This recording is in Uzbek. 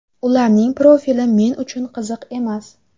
Ularning profili men uchun qiziq emas.